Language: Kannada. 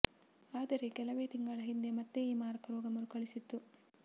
ಆದರೆ ಕೆಲವೇ ತಿಂಗಳ ಹಿಂದೆ ಮತ್ತೆ ಈ ಮಾರಕ ರೋಗ ಮರುಕಳಿಸಿತ್ತು